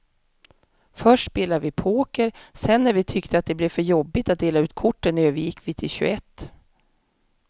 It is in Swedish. Först spelade vi poker, sedan när vi tyckte att det blev för jobbigt att dela ut korten övergick vi till tjugoett.